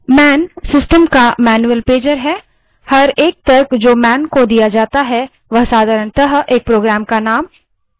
man system का manual pager है प्रत्येक तर्क जो man को दिया जाता है वह साधारणतः एक program का name utility यानि उपयोगिता या function होता है